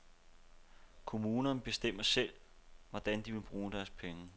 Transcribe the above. Kommunerne bestemmer selv, hvordan de vil bruge deres penge.